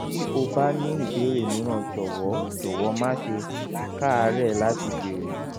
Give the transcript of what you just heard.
bí o bá ní ìbéèrè mìíràn jọ̀wọ́ jọ̀wọ́ má ṣe káàárẹ̀ láti béèrè